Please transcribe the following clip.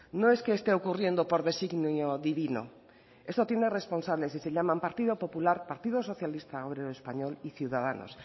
no es que esté ocurriendo por designio divino esto tiene responsables y se llaman partido popular partido socialista obrero español y ciudadanos